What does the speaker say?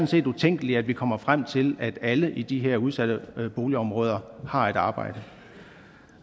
set utænkeligt at vi kommer frem til at alle i de her udsatte boligområder har et arbejde